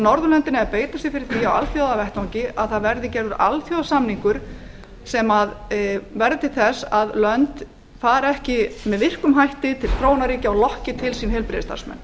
frekar en önnur þróuð ríki norðurlöndin eiga að beita sér fyrir því á alþjóðavettvangi að gerður verði alþjóðasamningur um að lönd leiti ekki með virkum hætti til þróunarríkja til að fá heilbrigðisstarfsmenn